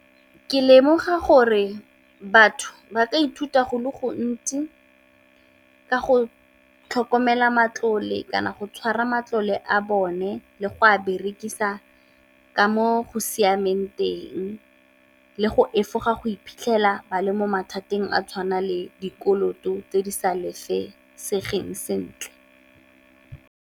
Ke lemoga gore batho ba ka ithuta go le gontsi ka go tlhokomela matlole, kana go tshwara matlole a bone le go a berekisa ka mo go siameng teng, le go efoga go iphitlhela ba le mo mathateng a tshwana le dikoloto tse di sa lefesegeng sentle.